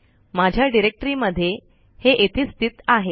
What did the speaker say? मझ्या डायरेक्टरी मध्ये हे येथे स्थित आहे